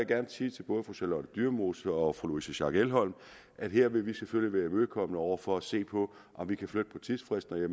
gerne sige til både fru charlotte dyremose og fru louise schack elholm at her vil vi selvfølgelig være imødekommende over for at se på om vi kan flytte på tidsfristerne